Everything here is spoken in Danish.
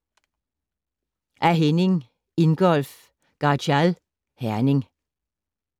Af Henning Ingolf Garchial, Herning